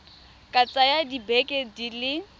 ka tsaya dibeke di le